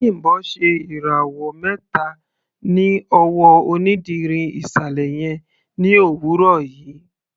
Bimbo ṣe ìràwọ̀ mẹta ní ọwọ́ onídìrí ìsàlẹ̀ yẹn ní òwúrọ̀ yìí.